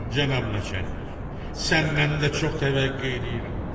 Cənab naçəlnik, səndən də çox təvəqqe eləyirəm.